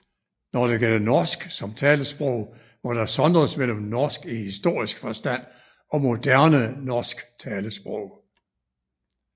Når det gælder norsk som talesprog må der sondres mellem norsk i historisk forstand og moderne norsk talesprog